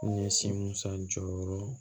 N ye si musa jɔyɔrɔ